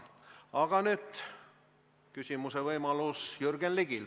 Aga nüüd on küsimise võimalus Jürgen Ligil.